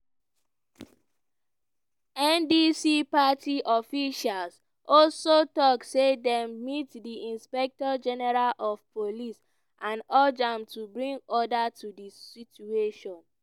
ndc party officials also tok say dem meet di inspector general of police and urge am to bring order to di situation.